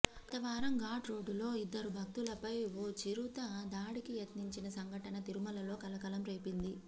గత వారం ఘాట్ రోడ్డులో ఇద్దరు భక్తులపై ఓ చిరుత దాడికి యత్నించిన సంఘటన తిరుమలలో కలకలం రేపింది